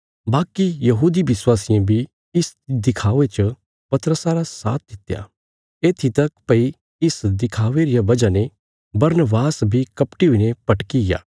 बाकी यहूदी विश्वासियें बी इस दिखावे च पतरसा रा साथ दित्या येत्थी तक भई इस दिखावे रिया बजह ने बरनबास बी कपटी हुईने भटकिग्या